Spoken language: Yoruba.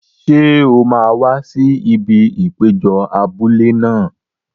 Ṣé o máa wá sí ibi ìpéjọ abúlé náà?